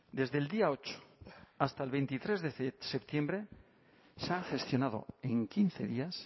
desde el día ocho hasta el veintitrés de septiembre se han gestionado en quince días